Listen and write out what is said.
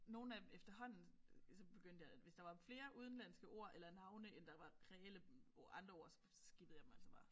Nogle af dem efterhånden så begyndte jeg at hvis der var flere udenlandske ord eller navne end der var reelle ord andre ord så skippede jeg dem altså bare